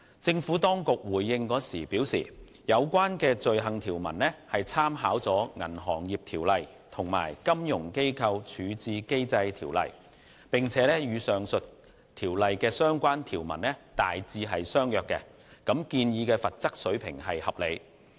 政府當局回應時表示，有關罪行條文參考了《銀行業條例》及《金融機構條例》，並與上述條例的相關條文大致相若，建議罰則水平合理。